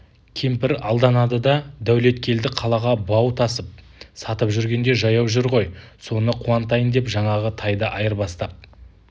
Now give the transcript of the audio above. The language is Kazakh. кемпір алданады да дәулеткелді қалаға бау тасып сатып жүргенде жаяу жүр ғой соны қуантайын деп жаңағы тайды айырбастап